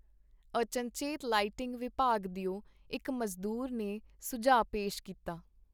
ਅਚਨਚੇਤ ਲਾਈਟਿੰਗ-ਵਿਭਾਗ ਦਿਓ ਇਕ ਮਜ਼ਦੂਰ ਨੇ ਸੁਝਾਅ ਪੇਸ਼ ਕੀਤਾ.